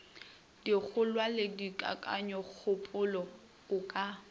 dikgolwa le kakanyokgopolo o ka